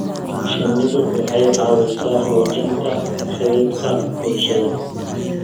Shinnidu waxay caawisaa xoojinta xidhiidhka bulshada.